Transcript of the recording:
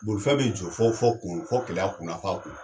Bolifɛn be jɔ fɔ fɔ kun na, fɔ Keleya kun na, f'a kun